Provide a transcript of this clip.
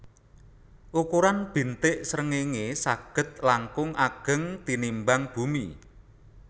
Ukuran bintik srengéngé saged langkung ageng tinimbang bumi